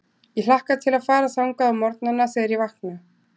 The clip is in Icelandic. Ég hlakka til að fara þangað á morgnana, þegar ég vakna.